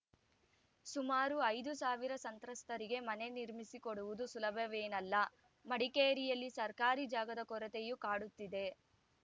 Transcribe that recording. ಸುಮಾರು ಐದು ಸಾವಿರ ಸಂತ್ರಸ್ತರಿಗೆ ಮನೆ ನಿರ್ಮಿಸಿಕೊಡುವುದು ಸುಲಭವೇನಲ್ಲ ಮಡಿಕೇರಿಯಲ್ಲಿ ಸರ್ಕಾರಿ ಜಾಗದ ಕೊರತೆಯೂ ಕಾಡುತ್ತಿದೆ